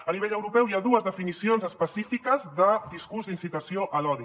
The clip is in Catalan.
a nivell europeu hi ha dues definicions específiques de discurs d’incitació a l’odi